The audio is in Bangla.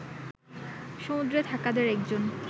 সমুদ্রে থাকাদের একজন